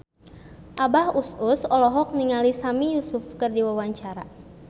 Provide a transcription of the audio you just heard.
Abah Us Us olohok ningali Sami Yusuf keur diwawancara